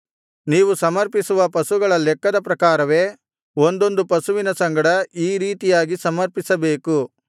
ನೀವು ಸಮರ್ಪಿಸುವ ಪಶುಗಳ ಲೆಕ್ಕದ ಪ್ರಕಾರವೇ ಒಂದೊಂದು ಪಶುವಿನ ಸಂಗಡ ಈ ರೀತಿಯಾಗಿ ಸಮರ್ಪಿಸಬೇಕು